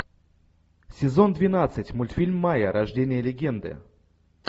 сезон двенадцать мультфильм майя рождение легенды